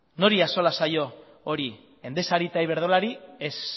nori axola zaio hori endesari eta iberdrolari ez